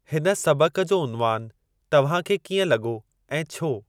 हिन सबक़ जो उन्वानु तव्हांखे कीअं लॻो ऐं छो?